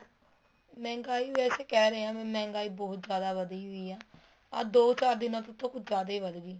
ਮਹਿੰਗਾਈ ਵੈਸੇ ਕਹਿ ਰਹੇ ਹੈ ਮਹਿੰਗਾਈ ਬਹੁਤ ਜਿਆਦਾ ਵੱਧੀ ਵੀ ਪੀ ਹੈ ਆ ਦੋ ਚਾਰ ਦਿਨਾਂ ਤੋ ਤਾਂ ਕੁੱਛ ਜਿਆਦਾ ਹੀ ਵੱਧ ਗਈ